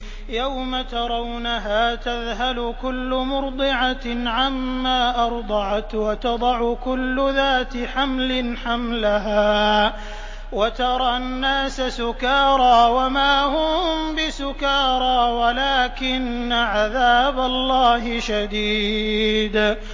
يَوْمَ تَرَوْنَهَا تَذْهَلُ كُلُّ مُرْضِعَةٍ عَمَّا أَرْضَعَتْ وَتَضَعُ كُلُّ ذَاتِ حَمْلٍ حَمْلَهَا وَتَرَى النَّاسَ سُكَارَىٰ وَمَا هُم بِسُكَارَىٰ وَلَٰكِنَّ عَذَابَ اللَّهِ شَدِيدٌ